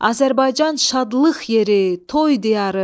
Azərbaycan şadlıq yeri, toy diyarı.